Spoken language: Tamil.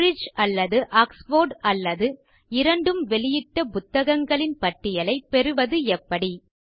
கேம்பிரிட்ஜ் அல்லது ஆக்ஸ்ஃபோர்ட் அல்லது இரண்டும் வெளியிட்ட புத்தகங்களின் பட்டியலைப் பெறுவது எப்படி